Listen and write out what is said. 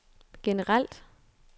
generelt